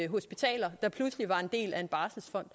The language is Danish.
hospitaler der pludselig var en del af en barselsfond